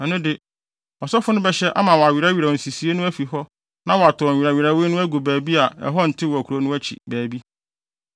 ɛno de, ɔsɔfo no bɛhyɛ ama wɔawerɛwerɛw nsisii no afi hɔ na wɔatow nwerɛwerɛwee no agu baabi a ɛhɔ ntew wɔ kurow no akyi baabi.